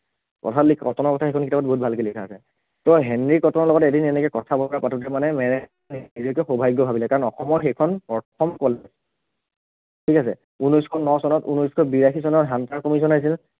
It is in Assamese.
অ খালী কটনৰ কথা সেইখন কিতাপত বহুত ভালকে লিখা আছে ত হেনৰি কটনৰ লগত এদিন এনেকে কথা বতৰা পাতোতে মানে মেৰেঙে সৌভাগ্য় ভাবিলে কাৰণ অসমৰ সেইখন প্ৰথম college, ঠিক আছে, ঊনৈছশ ন চনত, ঊনৈছশ বিয়াশী চনত hunter commission আহিছিল